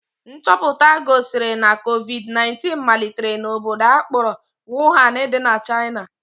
Nchọpụta gosiri na covid 19 malitere n'obodo a kpọrọ Wuhan dị na China